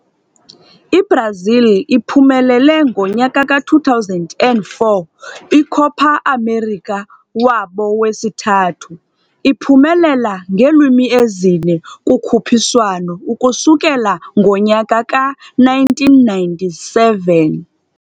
Brazil uphumelele 2004 Copa América, wabo wesithathu ukuphumelela ngeelwimi ezine competitions ukusukela ngo-1997